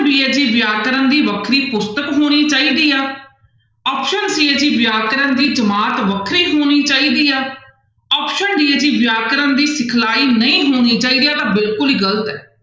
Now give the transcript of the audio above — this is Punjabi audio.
b ਹੈ ਜੀ ਵਿਆਕਰਨ ਦੀ ਵੱਖਰੀ ਪੁਸਤਕ ਹੋਣੀ ਚਾਹੀਦੀ ਆ option c ਹੈ ਜੀ ਵਿਆਕਰਨ ਦੀ ਜਮਾਤ ਵੱਖਰੀ ਹੋਣੀ ਚਾਹੀਦੀ ਆ option d ਹੈ ਜੀ ਵਿਆਕਰਨ ਦੀ ਸਿਖਲਾਈ ਨਹੀਂ ਹੋਣੀ ਚਾਹੀਦੀ ਆਹ ਤਾਂ ਬਿਲਕੁਲ ਹੀ ਗ਼ਲਤ ਹੈ।